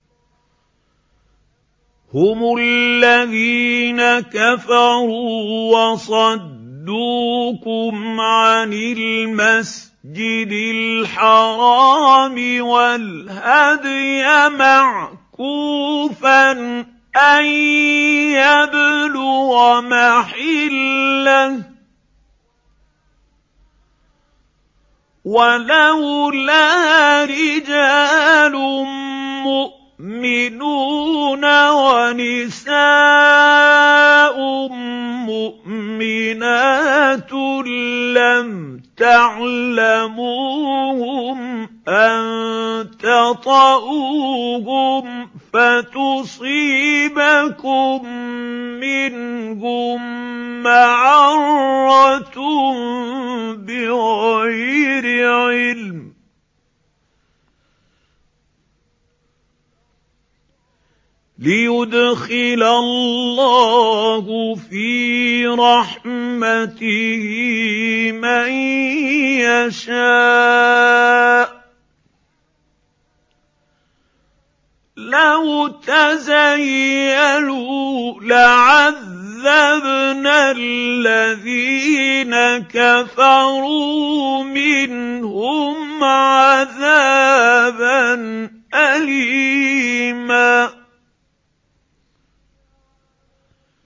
هُمُ الَّذِينَ كَفَرُوا وَصَدُّوكُمْ عَنِ الْمَسْجِدِ الْحَرَامِ وَالْهَدْيَ مَعْكُوفًا أَن يَبْلُغَ مَحِلَّهُ ۚ وَلَوْلَا رِجَالٌ مُّؤْمِنُونَ وَنِسَاءٌ مُّؤْمِنَاتٌ لَّمْ تَعْلَمُوهُمْ أَن تَطَئُوهُمْ فَتُصِيبَكُم مِّنْهُم مَّعَرَّةٌ بِغَيْرِ عِلْمٍ ۖ لِّيُدْخِلَ اللَّهُ فِي رَحْمَتِهِ مَن يَشَاءُ ۚ لَوْ تَزَيَّلُوا لَعَذَّبْنَا الَّذِينَ كَفَرُوا مِنْهُمْ عَذَابًا أَلِيمًا